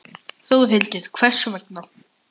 Þórhildur: Hvers vegna?